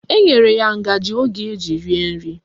Enyere ya ngaji ọ ga-eji rie nri